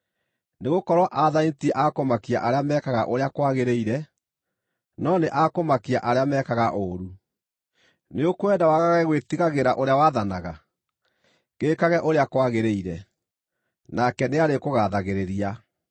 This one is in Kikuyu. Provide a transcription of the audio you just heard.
Nĩgũkorwo aathani ti a kũmakia arĩa mekaga ũrĩa kwagĩrĩire, no nĩ a kũmakia arĩa mekaga ũũru. Nĩũkwenda wagage gwĩtigagĩra ũrĩa wathanaga? Gĩĩkage ũrĩa kwagĩrĩire, nake nĩarĩkũgathagĩrĩria.